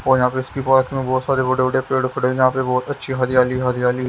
और यहाँ पे इसकी पास में बहुत सारे बड़े-बड़े पेड़ पड़े यहाँ पे बहुत अच्छी हरियाली हरियाली।